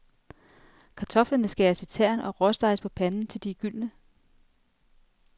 Kartoflerne skæres i tern og råsteges på panden til de er gyldne.